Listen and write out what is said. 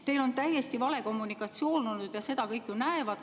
Teil on täiesti vale kommunikatsioon olnud ja seda kõik ju näevad.